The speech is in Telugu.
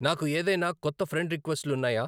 నాకు ఏదైనా కొత్త ఫ్రెండ్ రిక్వెస్ట్ లు న్నాయా